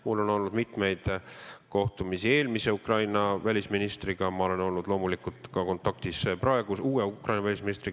Mul on olnud mitmeid kohtumisi Ukraina eelmise välisministriga ja ma olen olnud loomulikult kontaktis ka praeguse, Ukraina uue välisministriga.